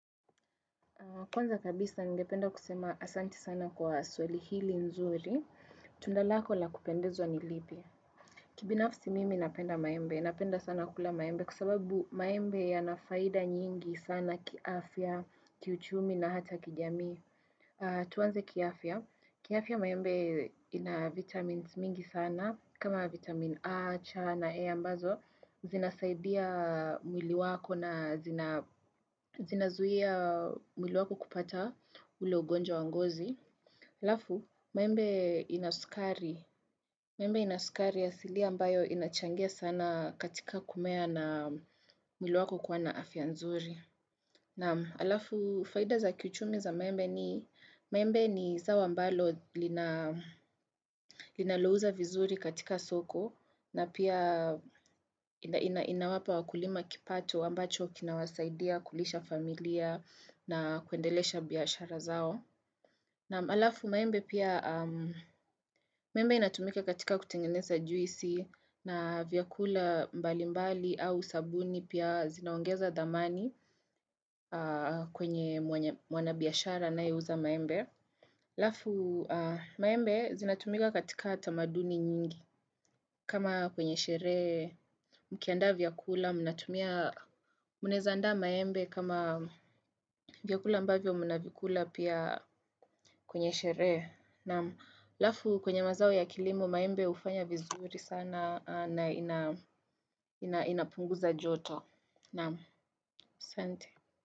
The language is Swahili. Kwanza kabisa ningependa kusema asanti sana kwa swali hili nzuri, tunda lako la kupendezwa ni lipi. Kibinafsi mimi napenda maembe, napenda sana kula maembe kwa sababu maembe yanafaida nyingi sana kiafya, kiuchumi na hata kijamii. Tuwanze kiafya. Kiafya maembe ina vitamins mingi sana. Kama vitamin A, chana, A ambazo. Zinasaidia mwili wako na zinazuia mwili wako kupata ule ugonjwa wa ngozi. Alafu, maembe ina sukari. Maembe ina sukari asilia ambayo inachangia sana katika kumea na mwili wako kuwa na afya nzuri. Na alafu, faida za kichumi za maembe ni zao ambalo linalouza vizuri katika soko na pia inawapa wakulima kipato ambacho kinawasaidia kulisha familia na kuendelesha biashara zao. Naam alafu maembe pia, maembe inatumika katika kutengeneza juisi na vyakula mbali mbali au sabuni pia zinaongeza dhamani kwenye mwanabiashara anayeuza maembe. Alafu maembe zinatumika katika tamaduni nyingi kama kwenye sherehe, mkiandaa vyakula, mnaeza andaa maembe kama vyakula ambavyo mnavikula pia kwenye sherehe. Naam alafu kwenye mazao ya kilimo maembe hufanya vizuri sana na inapunguza joto. Naam asante.